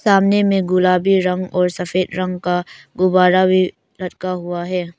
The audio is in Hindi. सामने मे गुलाबी रंग और सफेद रंग का गुब्बारा भी लटका हुआ है।